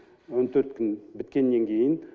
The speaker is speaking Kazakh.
он төрт күн біткеннен кейін